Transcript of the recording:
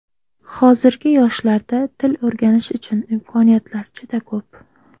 Hozirgi yoshlarda til o‘rganish uchun imkoniyatlar juda ko‘p.